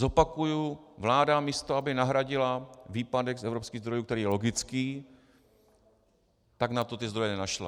Zopakuji: Vláda, místo aby nahradila výpadek z evropských zdrojů, který je logický, tak na to ty zdroje nenašla.